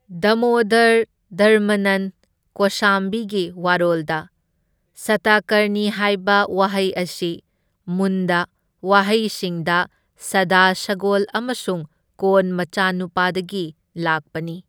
ꯗꯃꯣꯗꯔ ꯙꯔꯃꯅꯟ ꯀꯣꯁꯥꯝꯕꯤꯒꯤ ꯋꯥꯔꯣꯜꯗ ꯁꯇꯀꯔꯅꯤ ꯍꯥꯏꯕ ꯋꯥꯍꯩ ꯑꯁꯤ ꯃꯨꯟꯗ ꯋꯥꯍꯩꯁꯤꯡꯗ ꯁꯗ ꯁꯒꯣꯜ ꯑꯃꯁꯨꯡ ꯀꯣꯟ ꯃꯆꯥꯅꯨꯄꯥꯗꯒꯤ ꯂꯥꯛꯄꯅꯤ꯫